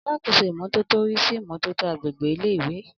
Alákóso ìmọ́tótó rí sí ìmọ́tótó agbègbè ilé ìwé